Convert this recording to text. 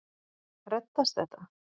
Reddast þetta?